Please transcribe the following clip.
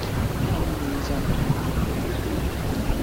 Nwanyi nwere ezi àgwà na ebi n'udo